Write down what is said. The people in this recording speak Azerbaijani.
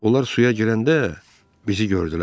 Onlar suya girəndə bizi gördülər.